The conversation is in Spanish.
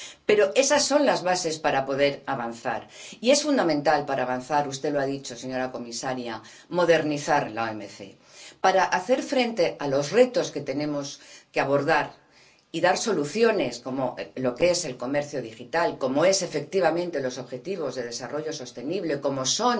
Pero esas son las bases para poder avanzar y, para avanzar, es fundamental —usted lo ha dicho, señora comisaria— modernizar la OMC para hacer frente a los retos que tenemos que abordar y dar soluciones, como es el comercio digital, como son, efectivamente, los objetivos de desarrollo sostenible, como es